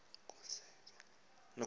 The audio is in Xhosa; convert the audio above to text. nokhuseleko